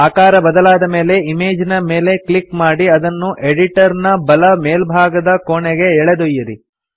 ಆಕಾರ ಬದಲಾದ ಮೇಲೆ ಇಮೇಜಿನ ಮೇಲೆ ಕ್ಲಿಕ್ ಮಾಡಿ ಅದನ್ನು ಎಡಿಟರ್ ನ ಬಲ ಮೇಲ್ಭಾಗದ ಕೋಣೆಗೆ ಎಳೆದೊಯ್ಯಿರಿ